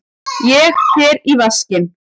Ég fer í vaskinn.